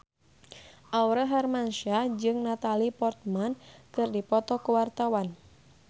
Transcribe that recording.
Aurel Hermansyah jeung Natalie Portman keur dipoto ku wartawan